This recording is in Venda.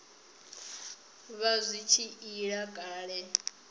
vha zwi tshi ila kale